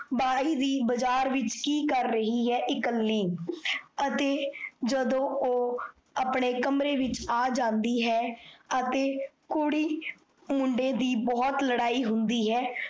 ਬਾਈ ਦੀ ਬਜਾਰ ਵਿੱਚ ਕੀ ਕਰ ਰਹੀ ਹੈ ਇਕੱਲੀ ਅਤੇ ਜਦੋ ਓਹ ਆਪਣੇ ਕਮਰੇ ਵਿੱਚ ਆ ਜਾਂਦੀ ਹੈ ਅਤੇ ਕੁੜੀ ਮੁੰਡੇ ਦੀ ਬਹੁਤ ਲੜਾਈ ਹੁੰਦੀ ਹੈ,